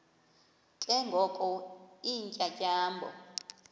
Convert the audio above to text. ke ngoko iintyatyambo